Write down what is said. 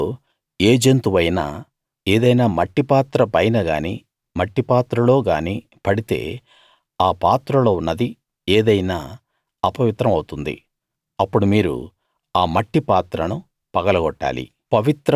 వీటిలో ఏ జంతువైనా ఏదైనా మట్టిపాత్ర పైన గానీ మట్టిపాత్రలో గానీ పడితే ఆ పాత్రలో ఉన్నది ఏదైనా అపవిత్రం అవుతుంది అప్పుడు మీరు ఆ మట్టిపాత్రను పగలగొట్టాలి